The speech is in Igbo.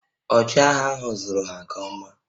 Ọchịagha ahụ zụrụ ha nke ọma